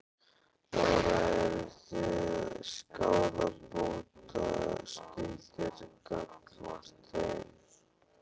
Lára: Eru þið skaðabótaskyldir gagnvart þeim?